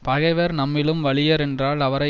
பகைவர் நம்மிலும் வலியர் என்றால் அவரை